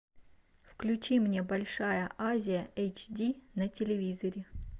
включи мне большая азия эйч ди на телевизоре